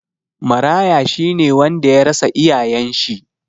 Maraya shi ne wanda ya rasa iyayen shi.